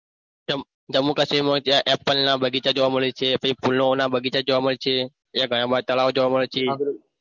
ચમ જમ્મુ કાશ્મીરમાં ત્યાં apple ના બગીચા જોવા મળે છે પછી ફૂલોના બગીચા જોવા મળે છે તે ઘણા બધા તળાવ જોવા મળે છે.